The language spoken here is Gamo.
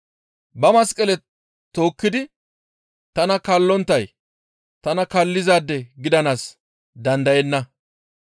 Ba masqale tookkidi tana kaallonttay tana kaallizaade gidanaas dandayenna.